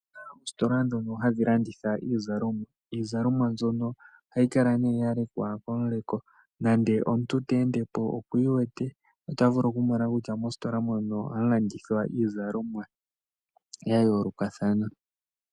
Ositola dhono hadhilanditha iizalomwa, iizalomwa mbyono ohayi kala ne yalekwa koleko nande omuntu tendepo okwiwete otavulu okumona kutya mositola mono ohamu landithwa iizalomwa yayoloka thana.